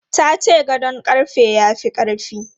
Ta ce gadon ƙarfe ya fi ƙarfi.